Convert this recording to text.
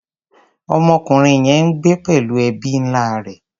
Ọmọkùnrin yẹn ń gbé pẹ̀lú ẹbí ńlá rẹ̀.